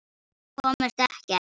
Komust ekkert.